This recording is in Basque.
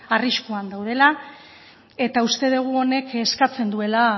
arriskuan daudela eta uste dugu honek eskatzen duela